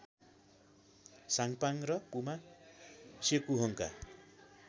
साङपाङ र पुमा सेकुहोङका